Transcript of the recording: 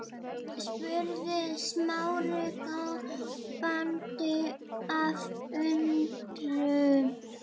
spurði Smári gapandi af undrun.